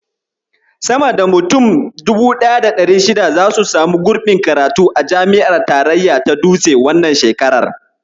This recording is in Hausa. Sama da mutum 1600 zasu samu gurbin karatu a jami'ar tarayya ta Dutse, wannan shekarar.